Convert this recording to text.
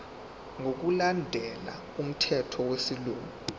ngokulandela umthetho wesilungu